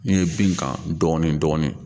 N ye bin kan dɔɔnin dɔɔnin